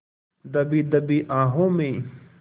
दबी दबी आहों में